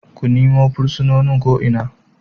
Ku nima fursunonin ko Ina!